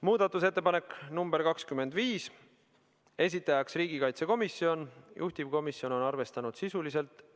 Muudatusettepanek nr 25, esitajaks on riigikaitsekomisjon, juhtivkomisjon on arvestanud seda sisuliselt .